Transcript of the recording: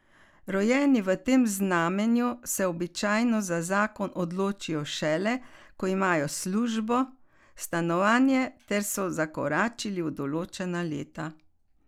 Rojeni v tem znamenju se običajno za zakon odločijo šele, ko imajo službo, stanovanje ter so zakoračili v določena leta.